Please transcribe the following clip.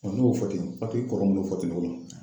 n y'o fɔ ten kɔrɔ mun n y'o fɔ ten tɔgɔma.